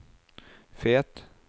Fet